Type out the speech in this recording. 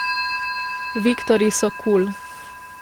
Viktorji so kul.